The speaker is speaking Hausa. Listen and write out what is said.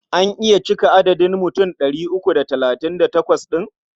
An iya cika adadin mutum ɗari uku da talatin da takwas ɗin?